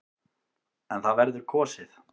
En það verður kosið.